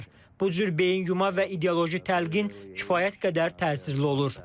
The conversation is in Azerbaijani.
Bu cür beyin yuma və ideoloji təlqin kifayət qədər təsirli olur.